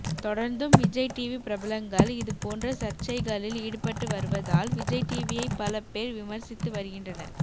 தொடர்ந்தும் விஜய் டிவி பிரபலங்கள் இது போன்ற சர்ச்சைகளில் ஈடுபட்டு வருவதால் விஜய் டிவியை பல பேர் விமர்சித்து வருகின்றனர்